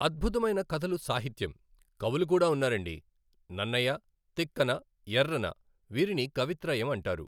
అద్భుతమైన కథలు సాహిత్యం. కవులు కూడా ఉన్నారండి, నన్నయ తిక్కన ఎఱ్ఱన వీరిని కవిత్రయం అంటారు.